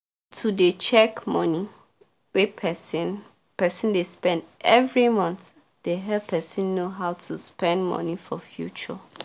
to dey check money wey person person dey spend every month dey help person know how to spend money for future